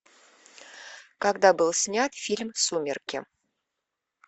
когда был снят фильм сумерки